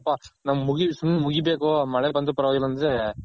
ಸುಮ್ನೆ ಮುಗಿಬೇಕ್ ನಮ್ಮಗೆ ಮಳೆ ಬಂದಿಲ್ಲ